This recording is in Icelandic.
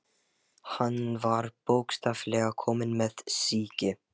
Hann var bókstaflega kominn með sýki.